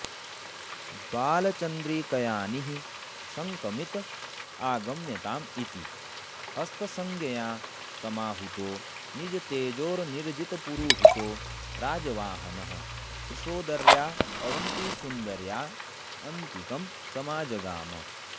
बालचन्द्रिकयाऽनिःशङ्कमित आगम्यताम्ऽ इति हस्तसंज्ञया समाहूतो निजतेजोनिर्जितपुरुहूतो राजवाहनः कृशोदर्या अवन्तिसुन्दर्या अन्तिकं समाजगाम